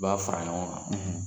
I b'a fara ɲɔgɔn kan, .